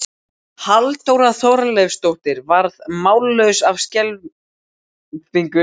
Halldóra Þorleifsdóttir varð mállaus af skelfingu.